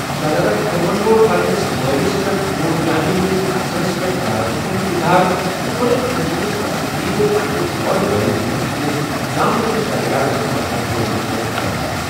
شہزادٕ خُرَمن کوٚر پنٛنِس مٲلِس پٮ۪ٹھ نوٗر جہانہِ ہِنٛدِس اثرس پٮ۪ٹھ ناراضگی ہُنٛد اِظہار تہٕ کھوٚتُس أمہِ سٕنٛدِس پسندیدٕ پنٛنِس وۄرٕ بٲیِس تہٕ أمہِ سٕنٛدِس زامتٕرِس شہریارس ماتحت روزنَس پٮ۪ٹھ شَرارت ۔